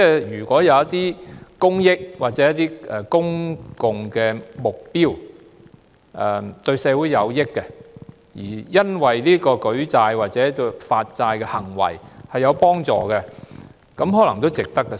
如果為着一些公益或公共目標，對社會有益，而舉債或發債有助實踐，這可能也值得發債。